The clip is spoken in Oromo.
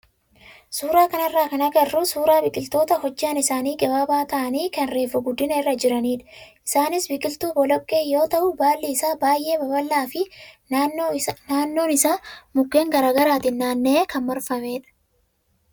Suuraa kanarraa kan agarru suuraa biqiloota hojjaan isaanii gabaabaa ta'anii kan reefu guddina irra jiranidha. Isaanis biqiltuu boloqqee yoo ta'u, baalli isaa baay'ee babal'aa fi naannoon isaa mukkeen garaagaraatiin naanna'ee kan marfamedha.